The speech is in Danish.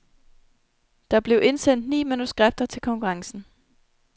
Der blev indsendt ni manuskripter til konkurrencen.